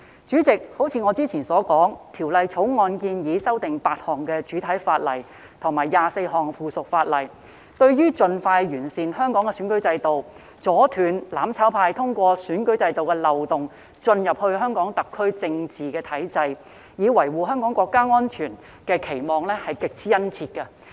主席，正如我之前所說，《條例草案》建議修訂8項主體法例及24項附屬法例，對於盡快完善香港選舉制度、阻斷"攬炒派"通過選舉制度漏洞進入香港特區政治體制，以維護香港國家安全的期望是極之殷切的。